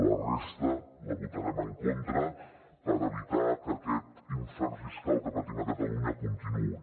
la resta la votarem en contra per evitar que aquest infern fiscal que patim a catalunya continuï